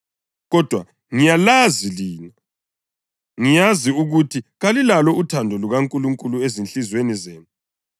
kodwa ngiyalazi lina. Ngiyazi ukuthi kalilalo uthando lukaNkulunkulu ezinhliziyweni zenu.